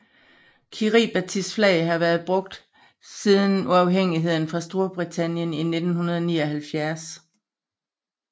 Kiribatis flag har været brugt siden uafhængighed fra Storbritannien i 1979